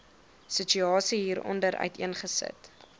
situasie hieronder uiteengesit